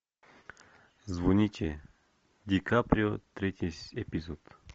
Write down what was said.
звоните ди каприо третий эпизод